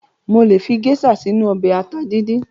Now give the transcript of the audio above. Mo lè fi géṣà sínu ọbẹ̀ ata díndín.